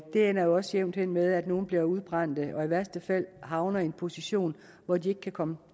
det ender jo også jævnt hen med at nogle bliver udbrændte og i værste fald havner i en position hvor de ikke komme